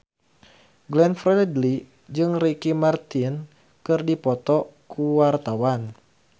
Glenn Fredly jeung Ricky Martin keur dipoto ku wartawan